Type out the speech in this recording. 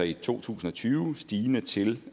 i to tusind og tyve stigende til